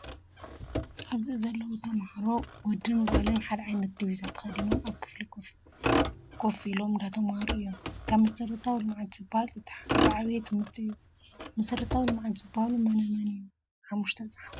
ኣብዚ ዘለው ተማሃሮ ወዶምን ጋሎም ሓደ ዓይነት ዲብዛ ተከዲኖም ኣብ ክፍሊ ኮፍ ኢም እንዳተማሃሮ እዮም። ካብ መስረታዊ ልምዓት ዝበሃል እቲ ዝዓበየ ትምህርቲ እዩ። መሰረታዊ ልምዓት ዝበሃሉ መን መን እዮም ሓሙስተ ፃሓፍ ?